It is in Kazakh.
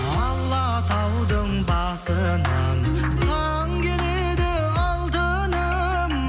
алатаудың басынан таң келеді алтыным